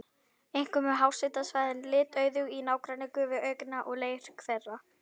Einkum eru háhitasvæðin litauðug í nágrenni gufuaugna og leirhvera.